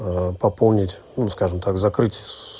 пополнить ну скажем так закрыть